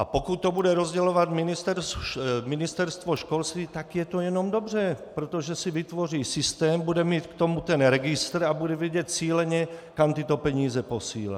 A pokud to bude rozdělovat Ministerstvo školství, tak je to jenom dobře, protože si vytvoří systém, bude mít k tomu ten registr a bude vědět cíleně, kam tyto peníze posílá.